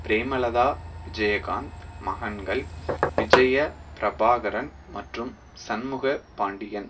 பிரேமலதா விஜயகாந்த் மகன்கள் விஜய பிரபாகரன் மற்றும் சண்முக பாண்டியன்